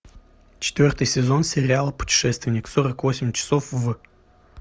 четвертый сезон сериала путешественник сорок восемь часов в